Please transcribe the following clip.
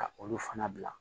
Ka olu fana bila